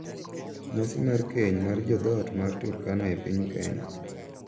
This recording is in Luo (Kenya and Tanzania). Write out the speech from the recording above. Nyasi mar keny mar jo dhoot mar Turkana e piny Kenya.